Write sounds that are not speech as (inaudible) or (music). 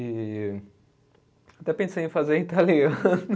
E, até pensei em fazer italiano. (laughs)